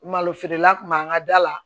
Malo feerela tun b'an ka da la